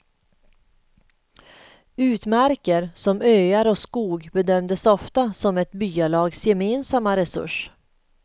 Utmarker som öar och skog bedömdes ofta som ett byalags gemensamma resurs.